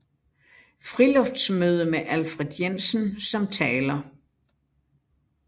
Friluftsmøde med Alfred Jensen som taler